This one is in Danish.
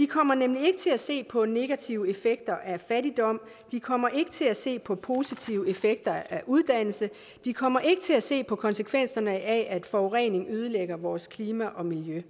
kommer nemlig ikke til at se på de negative effekter af fattigdom den kommer ikke til at se på de positive effekter af uddannelse den kommer ikke til at se på konsekvenserne af at forurening ødelægger vores klima og miljø